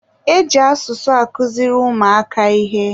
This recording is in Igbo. Eji asụsụ akụziri ụmụaka ihe.